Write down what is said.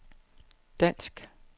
dansk